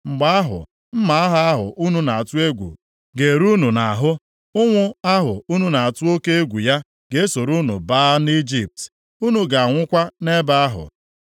mgbe ahụ, mma agha ahụ unu na-atụ egwu ga-eru unu nʼahụ, ụnwụ ahụ unu na-atụ oke egwu ya ga-esoro unu baa nʼIjipt. Unu ga-anwụkwa nʼebe ahụ.